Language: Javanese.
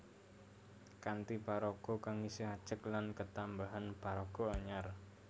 Kanthi paraga kang isih ajeg lan ketambahan paraga anyar